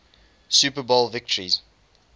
super bowl victories